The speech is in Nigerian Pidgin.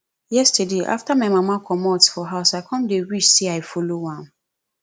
yesterday after my mama comot for house i come dey wish say i follow am